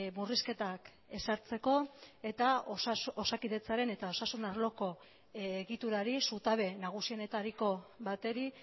murrizketak ezartzeko eta osakidetzaren eta osasun arloko egiturari zutabe nagusienetariko bateri